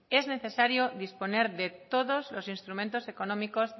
es necesario disponer de todos los instrumentos económicos